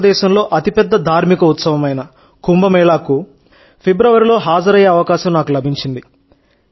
భారతదేశంలో అతిపెద్ద ధార్మిక ఉత్సవమైన కుంభమేళాకు ఫిబ్రవరిలో హాజరయ్యే అవకాశం నాకు లభించింది